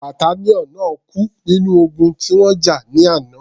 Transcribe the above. Battalion náà kú nínú ogun tí wọ́n jà ní àná.